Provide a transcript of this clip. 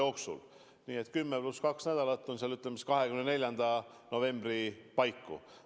Nii et 10. november pluss kaks nädalat – ütleme siis, et saame teada 24. novembri paiku.